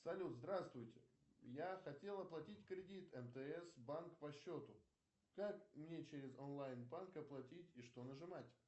салют здравствуйте я хотел оплатить кредит мтс банк по счету как мне через онлайн банк оплатить и что нажимать